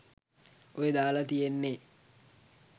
ඔය දාල තියෙන්නෙ